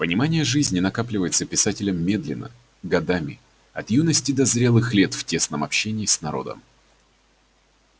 понимание жизни накапливается писателем медленно годами от юности до зрелых лет в тесном общении с народом